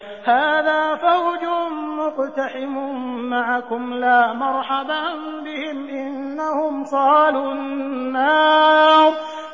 هَٰذَا فَوْجٌ مُّقْتَحِمٌ مَّعَكُمْ ۖ لَا مَرْحَبًا بِهِمْ ۚ إِنَّهُمْ صَالُو النَّارِ